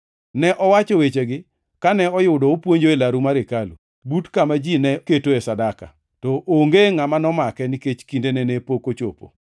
Ne owacho wechegi kane oyudo opuonjo e laru mar hekalu, but kama ji ne ketoe sadaka. To onge ngʼama nomake, nikech kindene ne pok ochopo.